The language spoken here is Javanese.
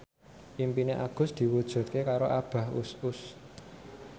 impine Agus diwujudke karo Abah Us Us